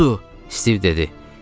Budur, Stiv dedi.